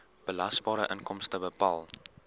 belasbare inkomste bepaal